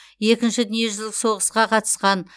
екінші дүниежүзілік соғысқа қатысқан